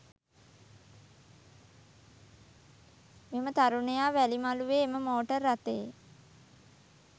මෙම තරුණයා වැලිමළුවේ එම මෝටර් රථයේ